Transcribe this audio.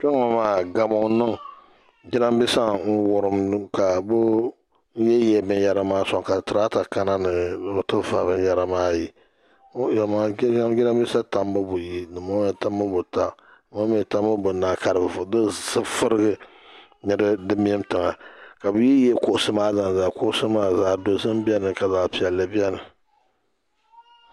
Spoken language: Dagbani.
Kpɛŋɔ maa gamu n-niŋ jirambiisa n-wurim ka bɛ yihiyihi binyɛra maa sɔŋ ka tirata kana ni bɛ ti va binyɛra maa yi o yɛlmaŋli kpe nyam jirambiisa tambu buyi dimbɔŋɔ mi tambu buta dimbɔŋɔ tambu bunahi ka di furigi ni di mim tiŋa ka bɛ yihiyihi kuɣusi maa zalizali kuɣusi maa zaɣ'dozim beni ka zaɣ'piɛlli beni.